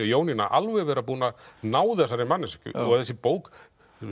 Jónína alveg vera búin að ná þessari manneskju í þessari bók